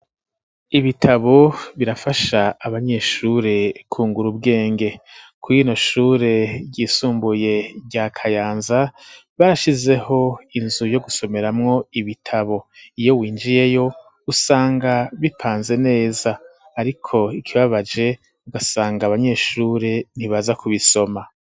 Ibitabo birafasha abanyeshure kungura ubwenge kw'ino shure ryisumbuye rya kayanza bashizeho inzu yo gusomera mwo ibitabo iyo winjiyeyo usanga bipanze neza ariko ikibabaje ugasanga abanyeshure ntibaza kubisoma.